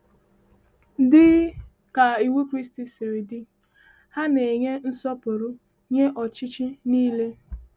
Dị ka iwu Kraịst siri dị, ha na-enye nsọpụrụ nye ọchịchị niile.